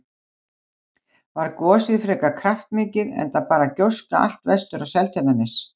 Var gosið frekar kraftmikið enda barst gjóska allt vestur á Seltjarnarnes.